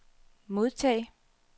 modtag